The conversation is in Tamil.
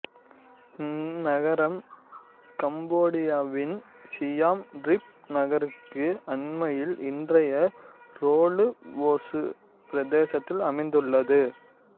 இந்நகரம் கம்போடியாவின் சியாம் ரீப் நகருக்கு அண்மையில் இன்றைய ரொலுவோசு பிரதேசத்தில் அமைந்துள்ளது